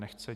Nechce.